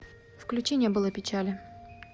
включи не было печали